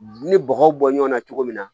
Ni bɔgɔw bɔ ɲɔn na cogo min na